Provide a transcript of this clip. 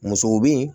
Muso bi